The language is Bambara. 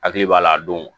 Hakili b'a la a don